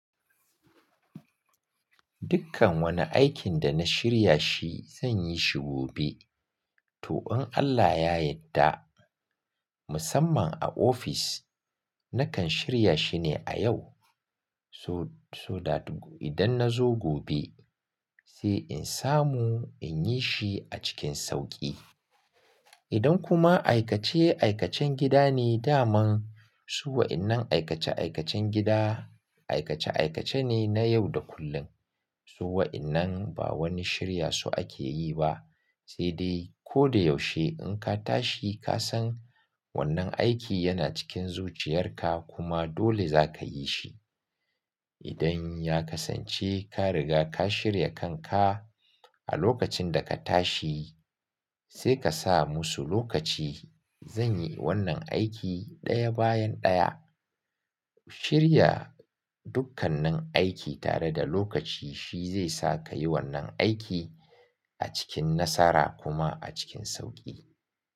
Dukkan wani aikin da na shirya shi zan yi shi gobe. To, in Allah ya yadda, musamman a ofis, nakan shirya shi ne a yau. So, so that idan na zo gobe. Sai in samu in yi shi a cikin sauƙi. Idan kuma aikace-aikacen gida ne, daman. Su waƴan nan aikace-aikacen gida aikace aikace ne na yau da kullum. Su waƴannan ba wani shirya su ake yi ba, sai dai ko da yaushe in ka tashi ka san. Wannan aiki yana cikin zuciyarka kuma dole za ka yi shi. Idan ya kasance ka riga ka shirya kanka a lokacin da ka tashi, sai ka sa musu lokaci. "Zan yi wannan aiki ɗaya bayan ɗaya." Shirya dukkannin aiki tare da lokaci shi zai sa ka yi wannan aiki. A cikin nasara kuma a cikin sauƙi.